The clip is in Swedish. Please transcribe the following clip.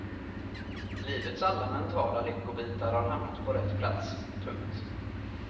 Livets alla mentala lyckobitar har hamnat på rätt plats. punkt